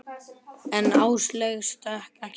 En Áslaugu stökk ekki bros.